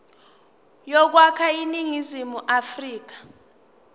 yokwakha iningizimu afrika